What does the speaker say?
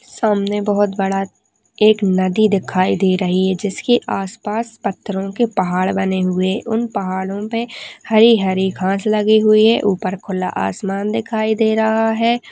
सामने बहुत बड़ा एक नदी दिखाई दे रही है इसके आसपास पत्थरों के पहाड़ बने हुए उन पहाड़ों पर हरी हरी घास लगी हुई है ऊपर खुला आसमान दिखाई दे रहा हैं।